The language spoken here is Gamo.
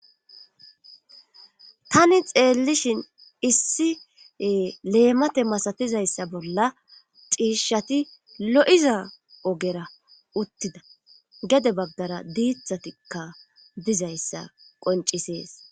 Tani xeellishin issi leemate masatizayssa bolla xiishshati lo7iza ogera uttida gede bagdara diithatikka dizayssa qoncisees